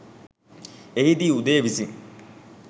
එහිදී උදය විසින්